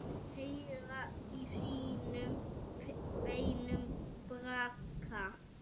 Heyra í sínum beinum braka.